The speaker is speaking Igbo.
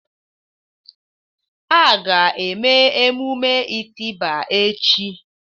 A ga-eme emume itiba echi.